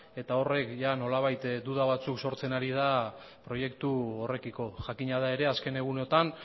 eta horrek nolabait duda batzuk sortzen ari proiektu horrekiko jakina da ere azken egunotan